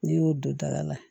N'i y'o don daga la